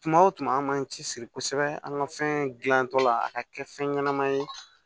Tuma o tuma an b'an cɛsiri kosɛbɛ an ka fɛn gilantɔ la a ka kɛ fɛn ɲɛnama ye